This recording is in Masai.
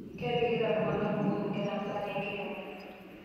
Kepikita iltunganak kumok enkera embaa enkiremore